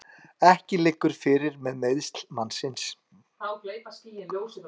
Ekki liggur fyrir með meiðsl mannsins